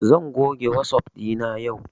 Zan goge wasap ɗina yau